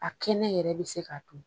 A kɛnɛ yɛrɛ bi se ka dun.